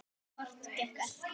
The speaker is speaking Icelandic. Hvorugt gekk eftir.